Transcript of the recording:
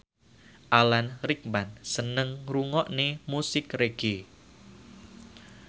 Alan Rickman seneng ngrungokne musik reggae